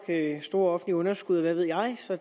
med store offentlige underskud og hvad ved jeg så